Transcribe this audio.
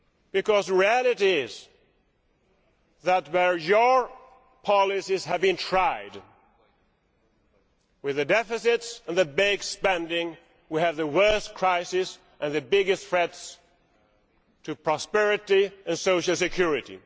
Because the reality is that where your policies have been tried, with the deficits and the big spending, we have the worst crisis and the biggest threats to prosperity and social security.